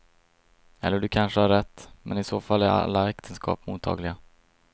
Eller du kanske har rätt, men i så fall är alla äktenskap mottagliga.